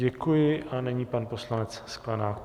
Děkuji a nyní pan poslanec Sklenák.